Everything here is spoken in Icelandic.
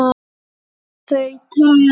Og þau töl